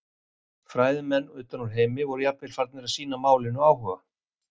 Fræðimenn utan úr heimi voru jafnvel farnir að sýna málinu áhuga.